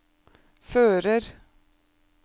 fører